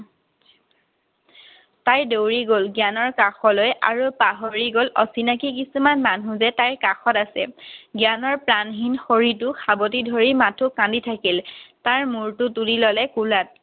তাই দৌৰি গ'ল জ্ঞানৰ কাষলৈ আৰু পাহৰি গ'ল অচিনাকী কিছুমান মানুহ যে তাইৰ কাষত আছে। জ্ঞানৰ প্ৰাণহীন শৰীৰটোক সাৱটি ধৰি মাথো কান্দি থাকিল। তাৰ মূৰটো তুলি ল'লে কোলাত।